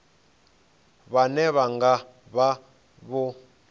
vhane vha nga vha vho